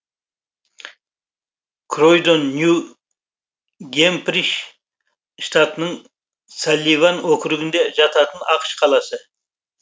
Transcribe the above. кройдон нью гэмприш штатының салливан округіне жататын ақш қаласы